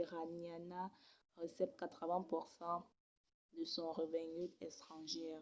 iraniana recep 80% de son revengut estrangièr